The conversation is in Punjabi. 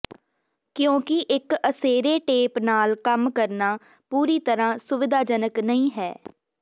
ਕਿਉਂਕਿ ਇੱਕ ਅਸੇਰੇ ਟੇਪ ਨਾਲ ਕੰਮ ਕਰਨਾ ਪੂਰੀ ਤਰ੍ਹਾਂ ਸੁਵਿਧਾਜਨਕ ਨਹੀਂ ਹੈ